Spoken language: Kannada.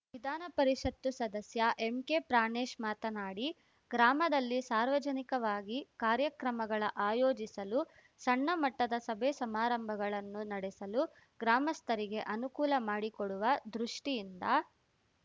ವಿಧಾನ ಪರಿಷತ್ತು ಸದಸ್ಯ ಎಂಕೆ ಪ್ರಾಣೇಶ್‌ ಮಾತನಾಡಿ ಗ್ರಾಮದಲ್ಲಿ ಸಾರ್ವಜನಿಕವಾಗಿ ಕಾರ್ಯಕ್ರಮಗಳ ಆಯೋಜಿಸಲು ಸಣ್ಣಮಟ್ಟದ ಸಭೆ ಸಮಾರಂಭಗಳನ್ನು ನಡೆಸಲು ಗ್ರಾಮಸ್ಥರಿಗೆ ಅನುಕೂಲ ಮಾಡಿಕೊಡುವ ದೃಷ್ಟಿಯಿಂದ